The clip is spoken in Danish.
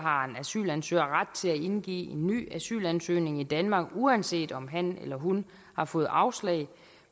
asylansøger ret til at indgive en ny asylansøgning i danmark uanset om han eller hun har fået afslag